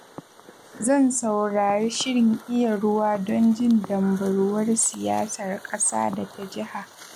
Zan saurari shirin Iya Ruwa don jin dambarwar siyasar ƙasa da ta jiha.